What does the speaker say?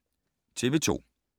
TV 2